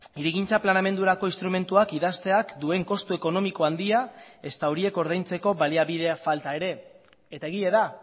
hirigintza planeamendurako instrumentuak idazteak duen kostu ekonomiko handia ezta horiek ordaintzeko baliabide falta ere eta egia da